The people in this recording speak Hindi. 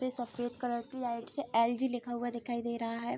पे सफेद कलर की लाइट्स है एल.जी. लिखा हुआ दिखाई दे रहा है।